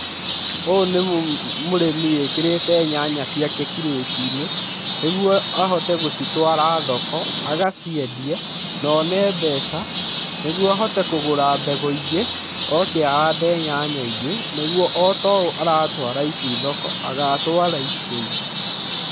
Ũyũ nĩ mũrĩmi wĩkĩrite nyanya ciake kirĩtiinĩ nĩguo ahaote gũcitwara thoko agaciendie na one mbeca nĩguo ahote kũgũra mbegũ ingĩ oke ahande nyanya ingĩ nĩguo otoũ aratwara ici thoko agatwara icio ingĩ.